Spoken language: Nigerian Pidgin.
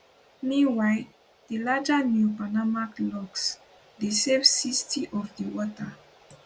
meanwhile di larger neopanamax locks dey save 60 of di water